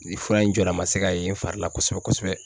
Nin fura in jɔda ma se ka ye n fari la kosɛbɛ kosɛbɛ.